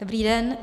Dobrý den.